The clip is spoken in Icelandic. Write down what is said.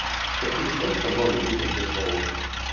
Hvernig standa málin núna hér hjá okkur?